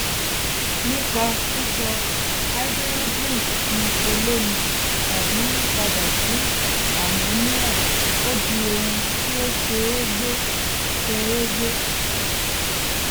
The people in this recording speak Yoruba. nípa sísọ háídírójìn di olómi tàbi yíyipadà sí àmóníà ó di ohun tí ó ṣe é gbé ṣe é gbé